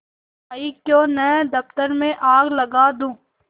आयीक्यों न दफ्तर में आग लगा दूँ